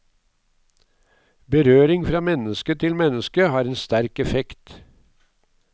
Berøring fra menneske til menneske har en sterk effekt.